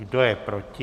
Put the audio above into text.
Kdo je proti?